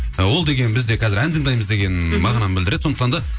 ы ол деген бізде қазір ән тыңдаймыз деген мағынаны білдіреді сондықтан да